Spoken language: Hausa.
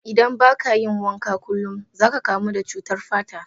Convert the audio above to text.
Idan ba ka yin wanka kulum, za ka kamu da cutar fata.